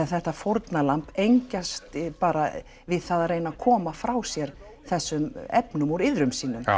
þetta fórnarlamb engjast bara við það að reyna að koma frá sér þessum efnum úr iðrum sínum